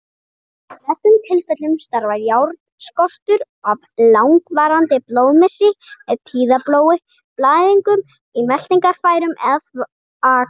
Í flestum tilfellum stafar járnskortur af langvarandi blóðmissi, með tíðablóði, blæðingu í meltingarfærum eða þvagfærum.